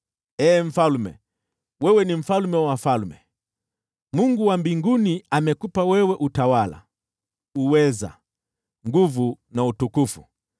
Ee mfalme, wewe ni mfalme wa wafalme. Mungu wa mbinguni amekupa wewe utawala, uweza, nguvu na utukufu.